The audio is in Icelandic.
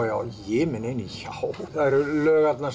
já það eru lög þarna